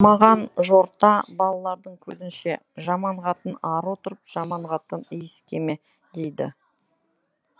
маған жорта балалардың көзінше жаман қатын ары отыр жаман қатын исікеме дейді